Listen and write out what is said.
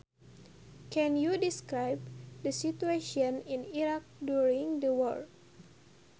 Can you describe the situation in Iraq during the war